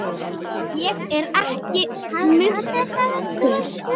Ég er ekki munkur.